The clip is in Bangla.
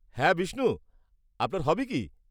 -হ্যাঁ, বিষ্ণু আপনার হবি কী?